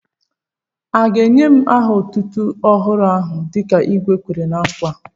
À ga ènyè m aha otútú ọhụrụ áhù dịka igwé Kwèrè ná nkwa?